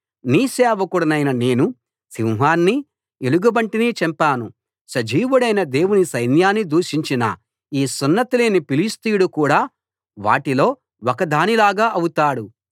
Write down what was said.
నీ సేవకుడనైన నేను సింహాన్నీ ఎలుగుబంటినీ చంపాను సజీవుడైన దేవుని సైన్యాన్ని దూషించిన ఈ సున్నతిలేని ఫిలిష్తీయుడు కూడా వాటిలో ఒకదానిలాగా అవుతాడు